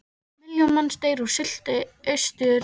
Milljón manns deyr úr sulti austur í Rússlandi.